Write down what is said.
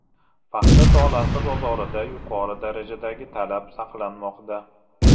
Paxta tolasi bozorida yuqori darajadagi talab saqlanmoqda.